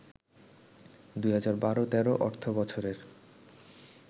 ২০১২-১৩ অর্থবছরের